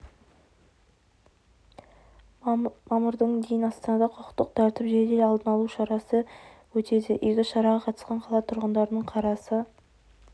мамырдың дейін астанада құқықтық тәртіп жедел алдын алу шарасы өтеді игі шараға қатысқан қала тұрғындарының қарасы